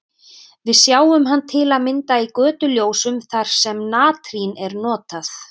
Við sjáum hann til að mynda í götuljósum þar sem natrín er notað.